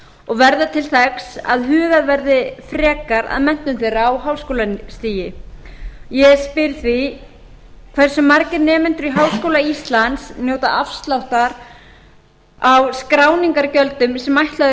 og verða til þess að hugað verði frekar að menntun þeirra á háskólastigi ég spyr því fyrsta hversu margir nemendur í háskóla íslands njóta afsláttar af skrásetningargjöldum sem ætlaður